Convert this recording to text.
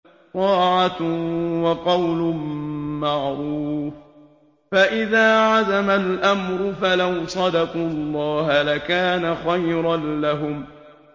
طَاعَةٌ وَقَوْلٌ مَّعْرُوفٌ ۚ فَإِذَا عَزَمَ الْأَمْرُ فَلَوْ صَدَقُوا اللَّهَ لَكَانَ خَيْرًا لَّهُمْ